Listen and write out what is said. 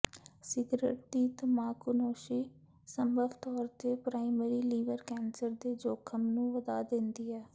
cigarette ਦੀ ਤਮਾਕੂਨੋਸ਼ੀ ਸੰਭਵ ਤੌਰ ਤੇ ਪ੍ਰਾਇਮਰੀ ਲੀਵਰ ਕੈਂਸਰ ਦੇ ਜੋਖਮ ਨੂੰ ਵਧਾ ਦਿੰਦੀ ਹੈ